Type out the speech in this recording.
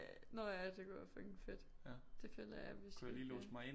Nå ja det kunne være fucking fedt det føler jeg vi skulle gøre